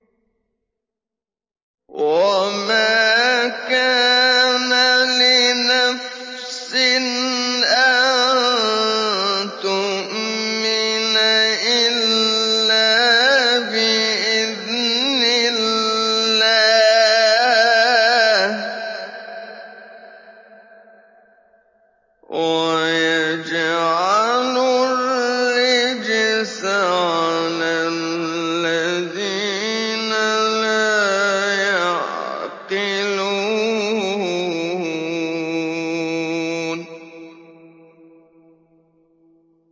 وَمَا كَانَ لِنَفْسٍ أَن تُؤْمِنَ إِلَّا بِإِذْنِ اللَّهِ ۚ وَيَجْعَلُ الرِّجْسَ عَلَى الَّذِينَ لَا يَعْقِلُونَ